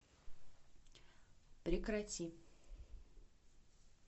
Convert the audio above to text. прекрати